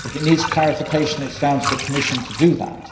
If it needs clarification, it is down to the Commission to do that.